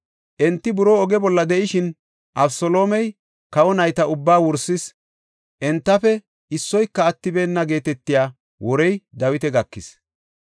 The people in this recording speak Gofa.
Enti buroo oge bolla de7ishin, “Abeseloomey kawa nayta ubbaa wursis; entafe issoyka attibeenna” geetetiya worey Dawita gakis.